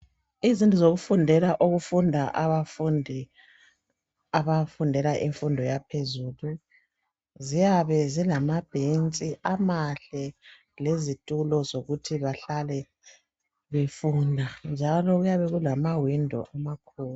Izindlu zokufundela okufunda abafundi abafundela infundo yaphezulu ziyabe zilamabhentshi amahle lezitulo zokuthi bahlale befunda njalo kuyabe kulama window amakhulu.